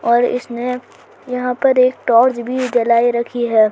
और इसमें यहां पर एक टोर्च भी जला रखी है।